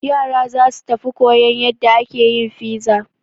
Yara za su tafi koyan yadda ake yin fiza.